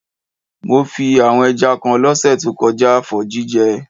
Mo fí àwon ẹja kan lọ́sẹ̀ to kojá for jíjẹ